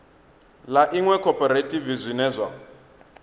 ḽa iṅwe khophorethivi zwine zwa